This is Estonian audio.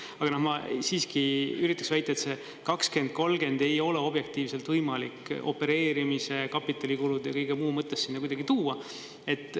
Aga ma siiski üritaks väita, et see 20, 30 ei ole objektiivselt võimalik opereerimise, kapitalikulude ja kõige muu mõttes sinna kuidagi tuua.